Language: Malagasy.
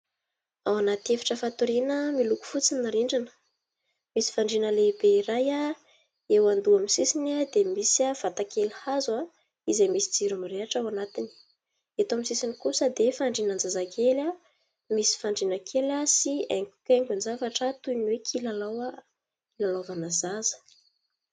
Ao anaty efitra fatoriana miloko fotsy ny rindrina. Misy fandriana lehibe iray eo andoha amin'ny sisiny dia misy vata kely hazo izay misy jiro mirehitra ao anatiny. Eto amin'ny sisiny kosa dia fandrianan-jazakely, misy fandriana kely sy haingonkaingon-javatra toy ny hoe kilalao hilalaovana zaza.